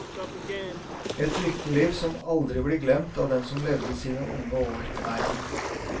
Et lykkeliv som aldri blir glemt av den som levde sine unge år her.